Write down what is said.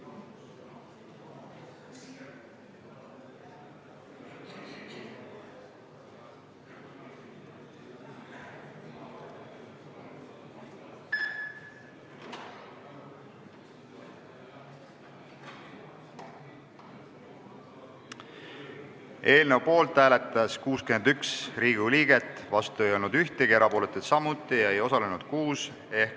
Hääletustulemused Eelnõu poolt hääletas 61 Riigikogu liiget, vastu ei olnud ühtegi, erapooletuid samuti polnud ning ei osalenud 6.